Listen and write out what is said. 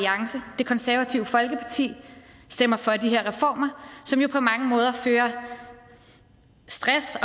det konservative folkeparti stemmer for de her reformer som jo på mange måder fører stress